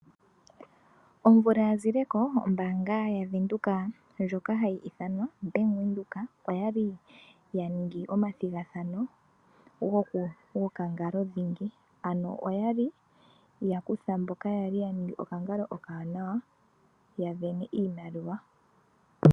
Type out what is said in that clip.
Omvula ya zileko ombaanga ya Venduka ndjoka hayi ithanwa Bank Windhoek oyali ya ningi omathigathano gokangalo dhingi. Ano oyali ya kutha mboka yali ya ningi okangalo okawanawa ya sindana iimaliwa.